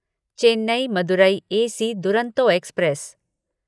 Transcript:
Chennai Madurai AC Duronto express